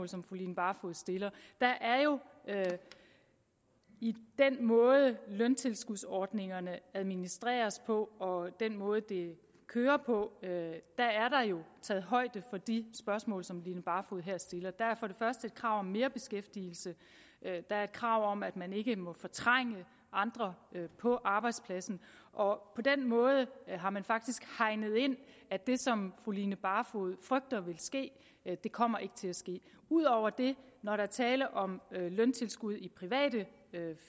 som fru line barfod stiller der er jo i den måde løntilskudsordningerne administreres på og den måde det kører på taget højde for de spørgsmål som fru line barfod her stiller der er for det første et krav om merbeskæftigelse der er et krav om at man ikke må fortrænge andre på arbejdspladsen og på den måde har man faktisk hegnet ind at det som fru line barfod frygter vil ske ikke kommer til at ske ud over det når der er tale om løntilskud i private